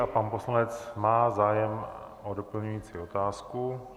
A pan poslanec má zájem o doplňující otázku.